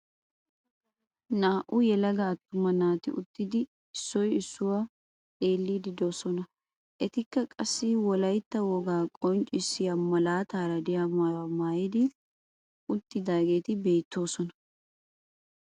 Naa"u yelaga attuma naati uttidi issoy issuwa xeelliiddi doosona. Etikka qassi wolayitta wogaa qonccissiya malaataara diya mayuwa mayyidi uttidaageeti beettoosona.